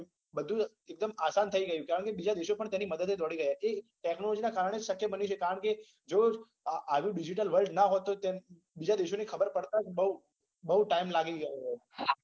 બધું એક દમ આસાન થઇ ગયુ છે કારણ કે બીજા દેશો પણ તેની મદદ એ દોડી રહ્યા છે એ technology ના કારણે સત્ય બન્યું છે કારણ કે જો આવી digital word ના હોય તો તેમ બીજા દેશોની ખબર પડતાજ બૌ બૌ time લાગી ગયો હોત